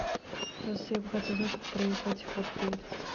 здравствуйте я бы хотела узнать как проехать в отель